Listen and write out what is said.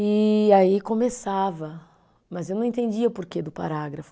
E aí começava, mas eu não entendia o porquê do parágrafo.